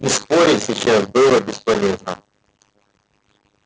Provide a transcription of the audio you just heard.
и спорить сейчас было бесполезно